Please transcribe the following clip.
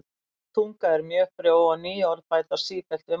Íslensk tunga er mjög frjó og ný orð bætast sífellt við málið.